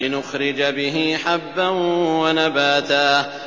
لِّنُخْرِجَ بِهِ حَبًّا وَنَبَاتًا